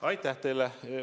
Aitäh teile!